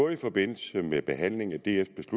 i forbindelse med behandlingen af dfs